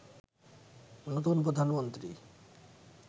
নতুন প্রধানমন্ত্রী